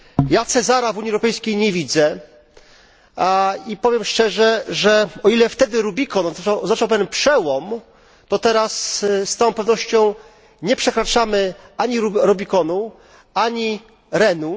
Ja Cezara w Unii Europejskiej nie widzę i powiem szczerze, że o ile wtedy Rubikon oznaczał pewien przełom, o tyle teraz z całą pewnością nie przekraczamy ani Rubikonu, ani Renu.